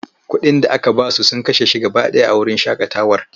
Kuɗin da aka ba su sun kashe shi gaba ɗaya a wurin shaƙatawar.